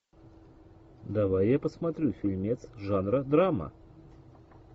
давай я посмотрю фильмец жанра драма